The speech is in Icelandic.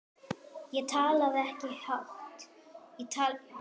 Ég talaði ekkert hátt.